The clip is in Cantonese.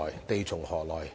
地從何來？